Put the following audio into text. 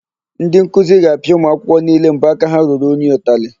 Ndị nkuzi ga-apịa ụmụakwụkwọ niile mbọaka ha ruru unyi ụtalị.